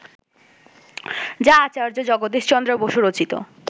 যা আচার্য জগদীশ চন্দ্র বসু রচিত